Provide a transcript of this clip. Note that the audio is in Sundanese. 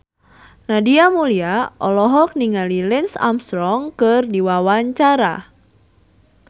Nadia Mulya olohok ningali Lance Armstrong keur diwawancara